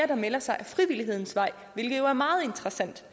der melder sig ad frivillighedens vej hvilket jo er meget interessant